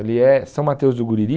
Ali é São Mateus do Guriri.